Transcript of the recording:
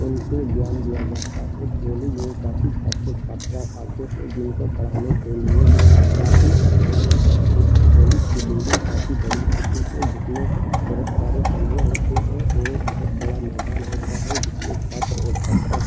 उनको ज्ञान दिया जाता है कॉलेज में काफी छात्र छात्रा आते हैं जिनको पढ़ाने के लिए काफी अध्यापक होते हैं कॉलेज की बिल्डिंग काफी बड़ी होती है जिसमें बोहोत सारे कमरे होते हैं और बोहोत बड़ा मैदान होता है जिसमें छात्र और छात्रा --